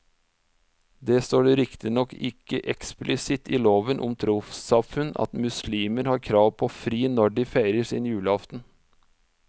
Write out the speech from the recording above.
Det står riktignok ikke eksplisitt i loven om trossamfunn at muslimer har krav på fri når de feirer sin julaften.